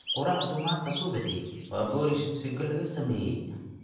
Quraacdu manta subixii waa boorish misigo lagasameye.